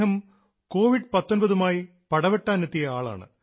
അദ്ദേഹം കോവിഡ് 19 മായി പടവെട്ടാനെത്തിയ ആളാണ്